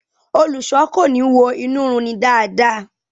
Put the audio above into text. Olùṣọ ko ni wo inu run ni dáadáa.